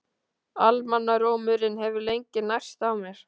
Almannarómurinn hefur lengi nærst á mér.